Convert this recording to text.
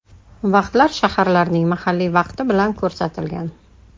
Vaqtlar shaharlarning mahalliy vaqti bilan ko‘rsatilgan.